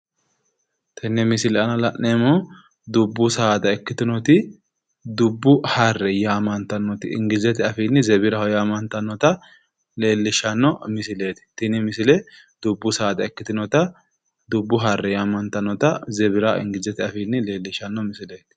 Tenne misile aana la'neemmohu dubbu saada ikkitinoti dubbu harre yaamantannoti ingilizete afiinni zebiraho yaamantannota leellishshanno misileeti tini misile. Dubbu saada ikkitinota dubbu harre yaamantannota zebira ingilizete afiinni leellishshanno misileeti.